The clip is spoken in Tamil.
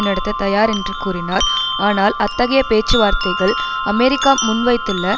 நடத்த தயார் என்று கூறினார் ஆனால் அத்தகைய பேச்சு வார்த்தைகள் அமெரிக்கா முன்வைத்துள்ள